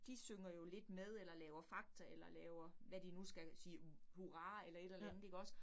De synger jo lidt med eller laver fagter eller laver hvad de nu skal sige hurra eller et eller andet ikke også